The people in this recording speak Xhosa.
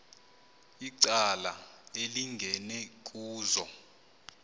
icala elingeni kuzo